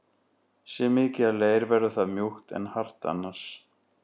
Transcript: Sé mikið af leir verður það mjúkt en hart annars.